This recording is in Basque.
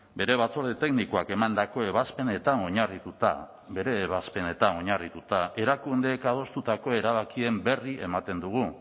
bere batzorde teknikoak emandako ebazpenetan oinarrituta bere ebazpenetan oinarrituta erakundeek adostutako erabakien berri ematen dugu